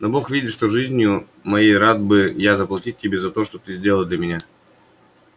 но бог видит что жизнью моей рад бы я заплатить тебе за то что ты сделал для меня